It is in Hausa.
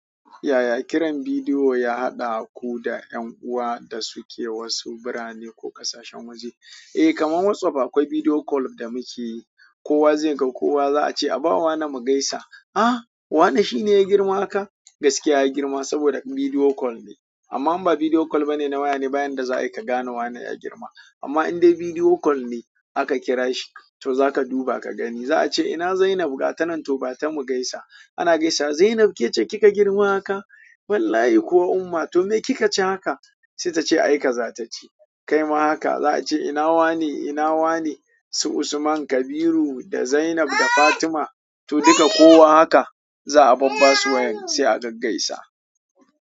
Yaya kiran bidiyo ya haɗa ku da 'yan uwa da suke wasu birane ko ƙasashen waje? Eh kamar WhatsApp akwai bidiyo call da muke yi. Kowa zai ga kowa, za a ce "A ba wane mu gaisa." "Ah wane shi ne ya girma haka?" Gaskiya ya girma saboda bidiyo kol ne. Amma in ba bidiyo call ba ne na waya ne bayan da za a yi ka gane wane ya girma. Amma in dai bidiyo kol ne aka kira shi, to za ka duba ka gani. Za a ce ina Zainab ga tanan to bata mu gaisa. Ana gaisawa Zainab kece kika girma haka? Wallahi kuwa Umma. To me kika ci haka? Sai ta ce ai kazaa ta ci. Kai ma haka za a ce "ina wane, ina wane?" Su Usman, Kabiru da Zainab da Fatima, to duka kowa haka za a babba su wayan sai a gaggaisa.